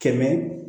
Kɛmɛ